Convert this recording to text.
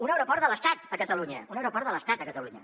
un aeroport de l’estat a catalunya un aeroport de l’estat a catalunya